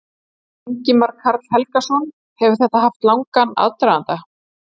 Ingimar Karl Helgason: Hefur þetta haft langan aðdraganda?